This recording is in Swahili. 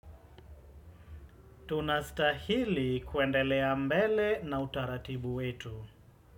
Tunastahili kuendelea mbele na utaratibu wetu.